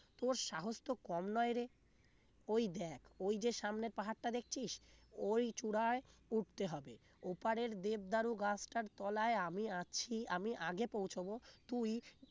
তোর সাহস তো কম নয় রে ওই দেখ ওই যে সামনে পাহাড়টা দেখছিস ওই চূড়ায় উঠতে হবে ওপারের দেবদারু গাছটার তলায় আমি আছি আমি আগে পৌঁছাব তুই